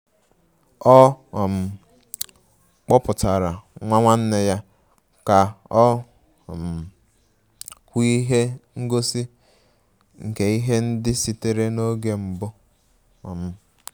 Ọ um kpọtara nwa nwanne ya ka ọ um hụ ihe ngosi nke ihe ndị sitere n'oge mbụ um